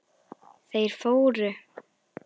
Þeir fóru.